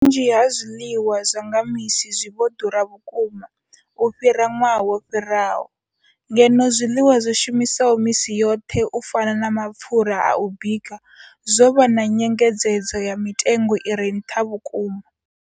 Vhunzhi ha zwiḽiwa zwa nga misi zwi vho ḓura vhukuma u fhira ṅwaha wo fhiraho, ngeno zwiḽiwa zwi shumiswaho misi yoṱhe u fana na mapfhura a u bika zwo vha na nyengedzedzo ya mitengo i re nṱha vhukuma.